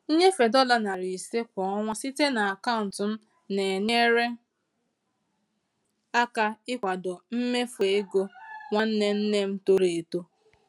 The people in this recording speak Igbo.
Nnyefe dollar 500 kwa ọnwa site na akaụntụ m na-enyere aka ịkwado mmefu ego nwanne nne m toro eto.